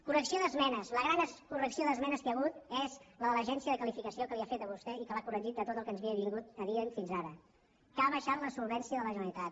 correcció d’esmenes la gran correcció d’esmenes que hi ha hagut és la de l’agència de qualificació que li ha fet a vostè i que l’ha corregit de tot el que ens havia dit fins ara que ha baixat la solvència de la generalitat